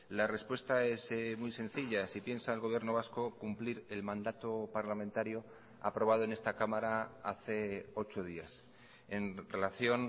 la respuesta es muy sencilla si piensa el gobierno vasco cumplir el mandato parlamentario aprobado en esta cámara hace ocho días en relación